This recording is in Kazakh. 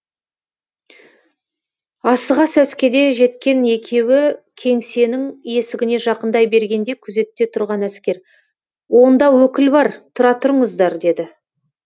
асыға сәскеде жеткен екеуі кеңсенің есігіне жақындай бергенде күзетте тұрған әскер онда өкіл бар тұра тұрыңыздар деді